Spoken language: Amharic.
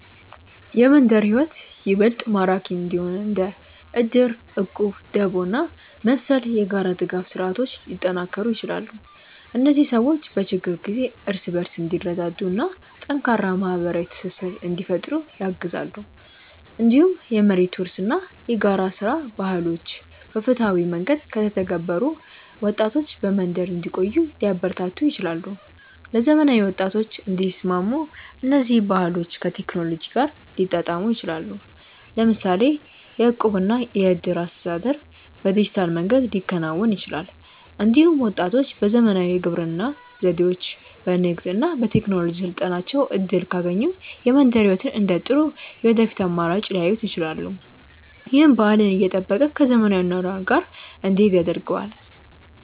የመንደር ሕይወት ይበልጥ ማራኪ እንዲሆን እንደ እድር፣ እቁብ፣ ደቦ እና መሰል የጋራ ድጋፍ ስርዓቶች ሊጠናከሩ ይችላሉ። እነዚህ ሰዎች በችግር ጊዜ እርስ በርስ እንዲረዳዱ እና ጠንካራ ማህበራዊ ትስስር እንዲፈጥሩ ያግዛሉ። እንዲሁም የመሬት ውርስ እና የጋራ ሥራ ባህሎች በፍትሃዊ መንገድ ከተተገበሩ ወጣቶች በመንደር እንዲቆዩ ሊያበረታቱ ይችላሉ። ለዘመናዊ ወጣቶች እንዲስማሙ እነዚህ ባህሎች ከቴክኖሎጂ ጋር ሊጣጣሙ ይችላሉ። ለምሳሌ የእቁብ እና የእድር አስተዳደር በዲጂታል መንገድ ሊከናወን ይችላል። እንዲሁም ወጣቶች በዘመናዊ የግብርና ዘዴዎች፣ በንግድ እና በቴክኖሎጂ ስልጠናዎች እድል ካገኙ የመንደር ሕይወትን እንደ ጥሩ የወደፊት አማራጭ ሊያዩት ይችላሉ። ይህም ባህልን እየጠበቀ ከዘመናዊ አኗኗር ጋር እንዲሄድ ያደርገዋል።